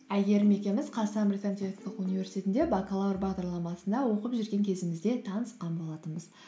әйгерім екеуміз қазақстан британ техникалық университетінде бакалавр бағдарламасында оқып жүрген кезімізде танысқан болатынбыз